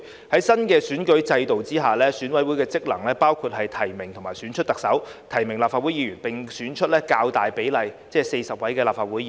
在新的選舉制度下，選委會職能包括提名及選出特首、提名立法會議員，並選出較大比例，即40位立法會議員。